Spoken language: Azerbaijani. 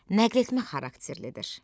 Nəqletmə xarakterlidir.